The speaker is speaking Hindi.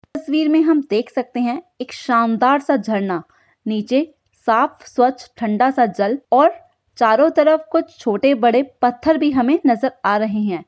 इस तस्वीर में हम देख सकते है एक शानदार सा झरना नीचे साफ स्वच्छ ठंडा सा जल और चारों तरफ कुछ छोटे बड़े पत्थर भी हमे नजर आ रहै हैं।